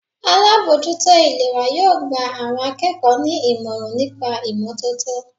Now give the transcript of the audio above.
Alábòójútó ìlera yóò gba àwọn akẹ́kọ̀ọ́ ní ìmọ̀ràn nípa ìmọ́tótó.